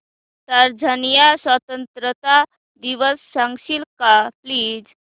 Tanzania स्वतंत्रता दिवस सांगशील का प्लीज